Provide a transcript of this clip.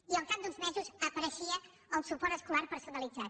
i al cap d’uns mesos apareixia el suport escolar personalitzat